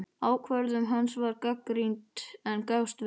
Ákvörðun hans var gagnrýnd, en gafst vel.